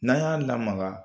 N'an y'a lamaga